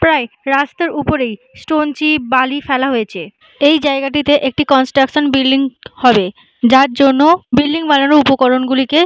প্রায় রাস্তার উপরেই স্টোন চি বালি ফেলা হয়েছে। এই জায়গাটিতে একটি কনস্ট্রাকশন বিল্ডিং হবে যার জন্য বিল্ডিং বানানোর উপকরণগুলিকে--